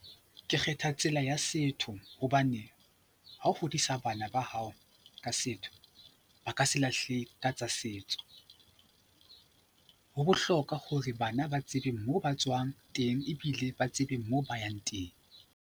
Ke kgetha tsela ya setho hobane ha ho hodisa bana ba hao ka setho ba ka se lahle ka tsa setso. Ho bohlokwa hore bana ba tsebe moo ba tswang teng ebile ba tsebe moo ba yang teng.